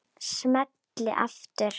Smelli aftur.